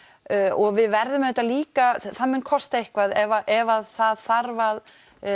og við verðum auðvitað líka það mun kosta eitthvað ef það þarf að